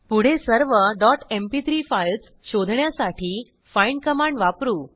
पुढे सर्व dot MP3 files शोधण्यासाठी फाइंड कमांड वापरू